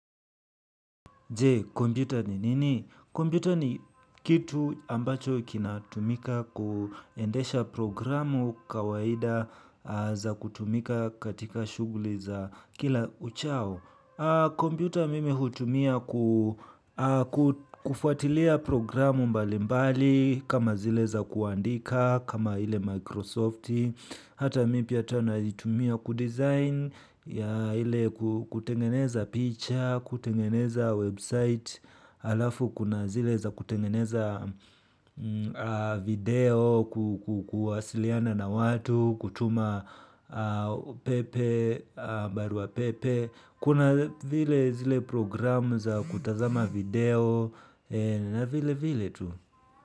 Jee, kompyuta ni nini? Kompyuta ni kitu ambacho kina tumika kuendesha programu kawaida za kutumika katika shughuli za kila uchao. Kompyuta mimi hutumia kufuatilia programu mbali mbali kama zile za kuandika kama ile Microsofti. Hata mi pia tena naitumia kudesign yeah ile kutengeneza picha kutengeneza website alafu kuna zile za kutengeneza video, ku kuwasiliana na watu, kutuma pepe, barua pepe. Kuna vile zile program za kutazama video na vile vile tu.